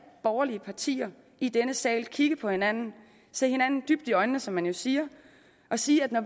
borgerlige partier i denne sal kigge på hinanden se hinanden dybt i øjnene som man jo siger og sige at når